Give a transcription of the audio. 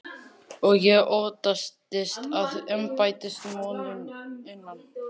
Og ég óttaðist að embættismönnum innan